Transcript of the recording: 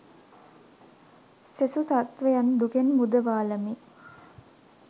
සෙසු සත්වයන් දුකෙන් මුදවාලමි.